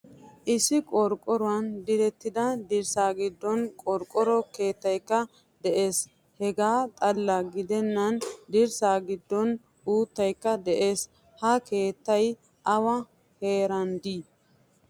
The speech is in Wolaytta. Issi qorqoruwan direttida dirssa giddon qorqoro keettaykka de ees. Hegaa xalala gidenan dirssa giddon uuttaykka de'ees. Ha keettay awa heerande'i?